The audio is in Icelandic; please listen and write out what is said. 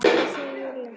Já, segir Júlía.